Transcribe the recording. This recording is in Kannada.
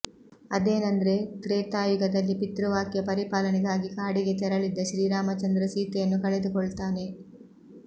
ಅದೇನಂದ್ರೆ ತ್ರೇತಾಯುಗದಲ್ಲಿ ಪಿತೃವಾಕ್ಯ ಪರಿಪಾಲನೆಗಾಗಿ ಕಾಡಿಗೆ ತೆರಳಿದ್ದ ಶ್ರೀರಾಮಚಂದ್ರ ಸೀತೆಯನ್ನು ಕಳೆದುಕೊಳ್ತಾನೆ